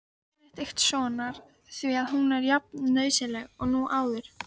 Benediktssonar, því að hún er jafnnauðsynleg nú og áður.